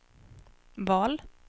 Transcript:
val